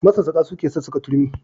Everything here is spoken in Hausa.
Masassaƙa suke sassaƙa turmi.